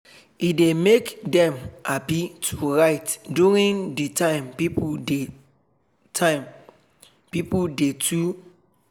e dey make dem happy to write during de time pipo dey time pipo dey too judge dem